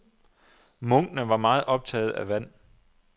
Munkene var meget optagede af vand.